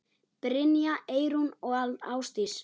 Brynja, Eyrún og Ásdís.